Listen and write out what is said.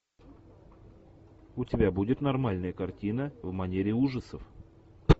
у тебя будет нормальная картина в манере ужасов